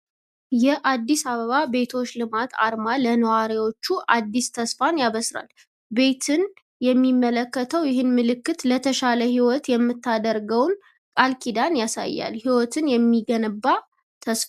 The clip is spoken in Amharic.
የአዲስ አበባ ቤቶች ልማት አርማ ለነዋሪዎች አዲስ ተስፋን ያበስራል። ቤትን የሚያመለክተው ይህ ምልክት ለተሻለ ሕይወት የምታደርገውን ቃል ኪዳን ያሳያል። ሕይወትን የሚገነባ ተስፋ!